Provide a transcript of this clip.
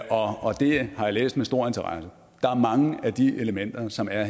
og det har jeg læst med stor interesse der er mange af de elementer som er